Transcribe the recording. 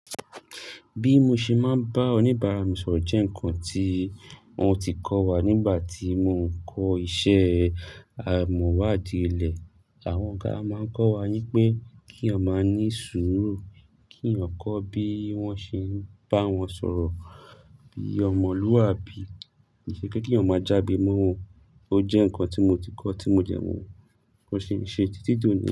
Bí mo ṣe máa ń bá oníbàárà mi sọ̀rọ̀ jẹ́ ǹkan tí wọ́n ti kọ́ wa nígbà tí mò ń kọ́ iṣẹ́ amọ̀wá di ilẹ̀. Àwọn ọ̀gá máa ń kọ́ wa wí pé kí a máa ní sùúrù, kí eéyàn kó bí wọ́n ṣe ń bá wọn sọ̀rọ̀ bí ọmọlúwàbí. Kí ṣe pé kí a má jàgbe mọ́ wọn. Ó jẹ́ ǹkan tí mo ti kọ́, tí mo dè mọ́, mo sì ń ṣe títí dòní.